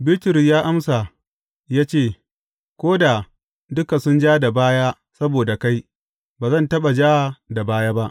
Bitrus ya amsa ya ce, Ko da duka sun ja da baya saboda kai, ba zan taɓa ja da baya ba.